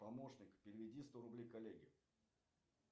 помощник переведи сто рублей коллеге